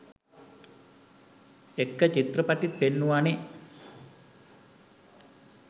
එක්ක චිත්‍රපටිත් පෙන්නුවනෙ.